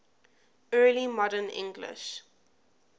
early modern english